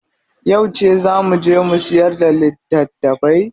Yauce zaa mu je mu siyar da litattafai?